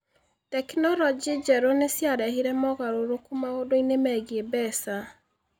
Tekinoronjĩ njerũ nĩ ciarehire mogarũrũku maũndũ-inĩ megiĩ mbeca.